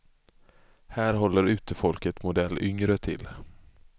Här håller utefolket modell yngre till.